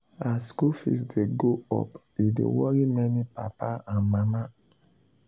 as school fees dey go up e dey worry many papa and mama.